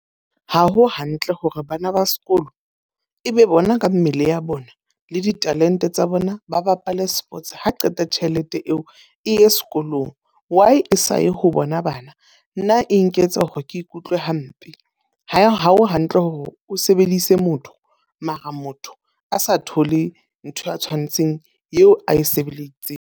Ha ho hantle hore bana ba sekolo e be bona ka mmele ya bona, le ditalente tsa bona ba bapale sports ha qeta tjhelete eo e sekolong. Why e saye ho ona bana? Nna e nketsa hore ke ikutlwe hampe. Ha o hantle hore o sebedise motho, mara motho a sa thole ntho ya tshwanetseng eo a e sebeleditseng.